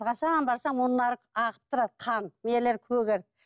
қашан барсаң мұрындары ағып тұрады қан нелері көгеріп